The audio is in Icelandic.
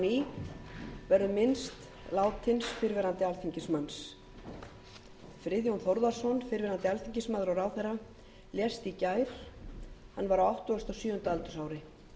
friðjón þórðarson fyrrverandi alþingismaður og ráðherra lést í gær hann var á áttugasta og sjöunda aldursári